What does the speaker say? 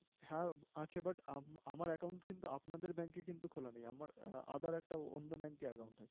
হ্যাঁ আছে, but আম~আমার account কিন্তু আপনাদের bank এ কিন্তু খোলা নেই, আমার other একটা অন্য bank এ account আছে।